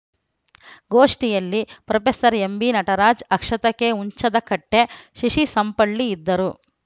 ಗೋಷ್ಠಿಯಲ್ಲಿ professor M B Nataraj Akshata K Hunchadakatte Shishi Sampalli ಇದ್ದರು